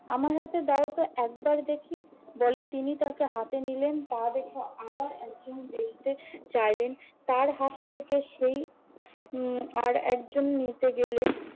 আমার হাতে দাও তো একবার দেখি, বলে তিনি তাকে হাতে নিলেন। তা দেখে আবার একজন দেখতে চাইলেন। তার হাত থেকে সেই উম আর একজন নিতে গেলেন।